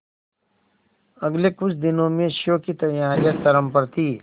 अगले कुछ दिनों में शो की तैयारियां चरम पर थी